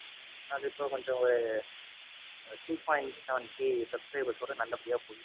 அது இப்போ கொஞ்சம் two point seven K subscribers ஓட நல்லபடியா போயிட்டிருக்கு.